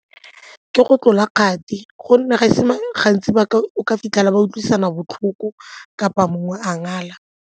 Ke go tlola ga kgati gonne ga e se gantsi ba ka o ka fitlhela ba utlwisisana botlhoko kapa mongwe a ngala.